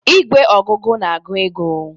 Igwe ogugu na-agụ ego.